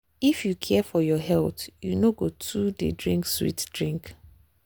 if you care for your health you no go too dey drink sweet drink.